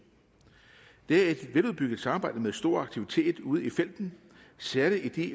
det er et veludbygget samarbejde med stor aktivitet ude i felten særlig i de